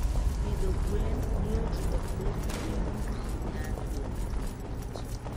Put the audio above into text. Pidho gwen miyo ji ok bed gi geno ahinya kuom gik miuso.